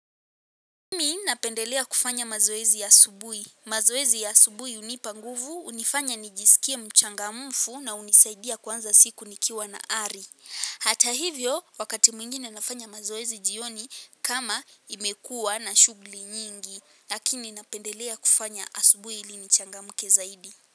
Napendelea kufanya mazoezi ya asubuhi. Mazoezi ya asubuhi hunipa nguvu, hunifanya nijisikie mchangamfu na hunisaidia kuanza siku nikiwa na ari. Hata hivyo, wakati mwingine nafanya mazoezi jioni kama imekua na shughuli nyingi. Lakini napendelea kufanya asubuhi ili nichangamke zaidi.